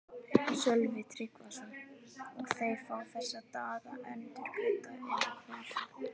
Sölvi Tryggvason: Og þeir fá þessa daga endurgreidda eða hvað?